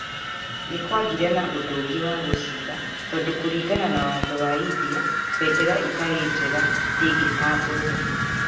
Nĩ kwagĩire na ũndũ ũngĩ wa gũcaria tondũ kũringana na watho wa India, bendera ĩtarĩ njega ndĩngĩtambũrũo.